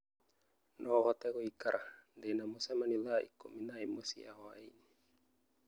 No ũhote gũikara ndĩ na mũcemanio thaa ikũmi na ĩmwe cia hwaĩinĩ